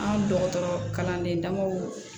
An ka dɔgɔtɔrɔ kalanden dabɔ